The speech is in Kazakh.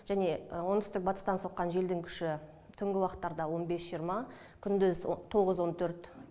және оңтүстік батыстан соққан желдің күші түнгі уақыттарда он бес жиырма күндіз тоғыз он төрт